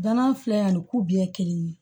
Danan filɛ ani kuya kelen ye